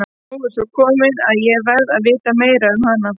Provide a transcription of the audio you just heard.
Nú er svo komið að ég verð að vita meira um hana.